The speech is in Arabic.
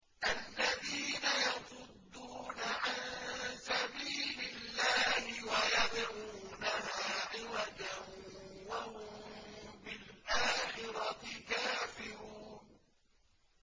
الَّذِينَ يَصُدُّونَ عَن سَبِيلِ اللَّهِ وَيَبْغُونَهَا عِوَجًا وَهُم بِالْآخِرَةِ كَافِرُونَ